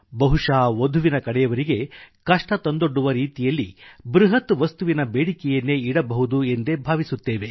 ಬಹುಶಃ ವಧುವಿನ ಕಡೆಯವರಿಗೆ ಕಷ್ಟ ತಂದೊಡ್ಡುವ ರೀತಿಯಲ್ಲಿ ಬೃಹತ್ ವಸ್ತುವಿನ ಬೇಡಿಕೆಯನ್ನೇ ಇಡಬಹುದು ಎಂದೇ ಭಾವಿಸುತ್ತೇವೆ